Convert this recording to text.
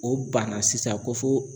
O banna sisan ko fo